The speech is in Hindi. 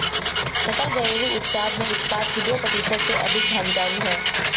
सकल घरेलू उत्पाद में इस्पात की दो प्रतिशत से अधिक भागीदारी है